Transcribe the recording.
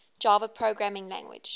java programming language